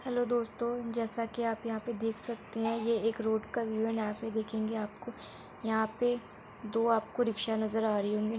Hello दोस्तों जैसा कि आप यहाँ पे देख सकते हैं ये एक रोड का व्यू है एण्ड यहाँ पे देखेंगे आपको यहाँ पे दो आपको रिक्शा नज़र आ रही होंगी।